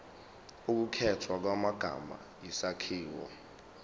ukukhethwa kwamagama isakhiwo